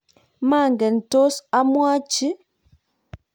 manget tos amwochi